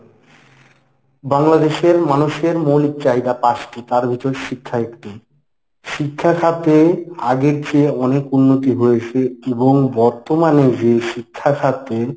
বাংলাদেশের মানুষের মৌলিক চাহিদা পাঁচটি তার মধ্যে শিক্ষা একটি। শিক্ষাখাতে আগের চেয়ে অনেক উন্নতি হয়েছে এবং বর্তমানে যে শিক্ষাখাতে;